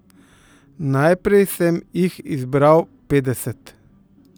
Najprej sem jih izbral petdeset.